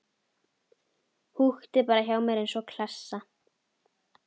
Húkti bara hjá mér eins og klessa.